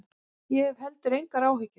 Ég hef heldur engar áhyggjur.